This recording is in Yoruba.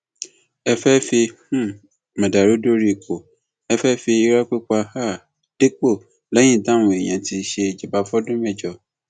ẹ fẹẹ fi um mọdàrú dórí ipò ẹ fẹẹ fi irọ pípa um dépò lẹyìn táwọn èèyàn yín ti ṣèjọba fọdún mẹjọ